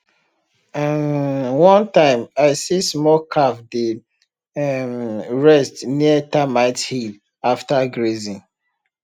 um one time i see small calf dey um rest near termite hill after grazing